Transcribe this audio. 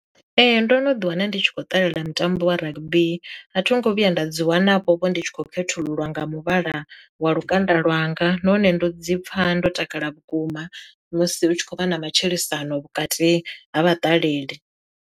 Ee ndo no ḓi wana ndi tshi khou ṱalela mutambo wa rugby, a thongo vhuya nda dzi wana vho vho ndi tshi khou khethululwa nga muvhala wa lukanda lwanga nahone ndo dzi pfha ndo takala vhukuma musi u tshi khou vha na matshilisano vhukati ha vha ṱaleli.